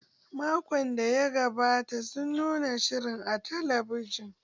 Makon da ya gabata sun nuna shirin a talabijin.